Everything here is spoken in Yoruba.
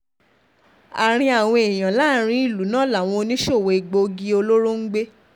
àárín àwọn èèyàn láàrin ìlú náà làwọn oníṣòwò egbòogi olóró ń gbé